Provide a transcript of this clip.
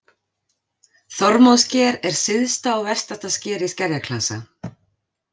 Þormóðssker er syðsta og vestasta sker í skerjaklasa.